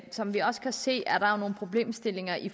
som vi også kan se er der nogle problemstillinger i